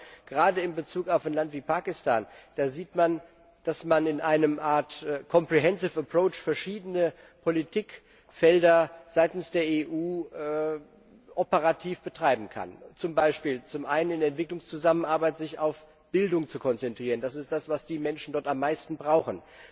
Ich glaube, gerade in Bezug auf ein Land wie Pakistan sieht man, dass man in einer Art comprehensive approach verschiedene Politikfelder seitens der EU operativ betreiben kann, zum Beispiel zum einen in der Entwicklungszusammenarbeit sich auf Bildung zu konzentrieren, das ist das, was die Menschen dort am meisten brauchen.